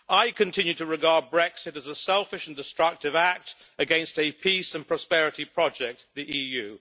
I continue to regard Brexit as a selfish and destructive act against a peace and prosperity project the EU.